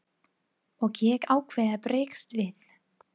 Og ég ákvað að bregðast við.